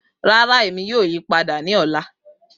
Rara Emi yoo yipada ni ọla